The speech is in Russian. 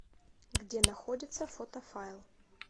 где находится фотофайл